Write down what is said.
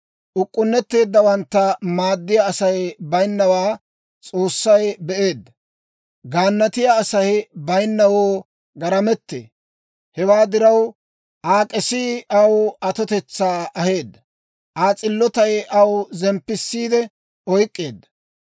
Uk'k'unnetteeddawantta maaddiyaa Asay bayinnawaa S'oossay be'eedda; gaannatiyaa Asay bayinnawoo garamettee. Hewaa diraw, Aa k'esii aw atotetsaa aheedda. Aa s'iltotetsay Aa zemppisiide oyk'k'eedda.